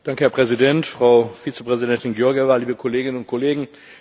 Herr Präsident, Frau Vizepräsidentin Georgieva, liebe Kolleginnen und Kollegen!